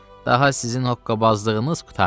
Daha sizin hoqqabazlığınız qurtardı.